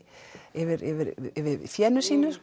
yfir yfir fénu sínu